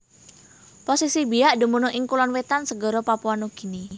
Posisi Biak dumunung ing Kulon Wetan segara Papua Nugini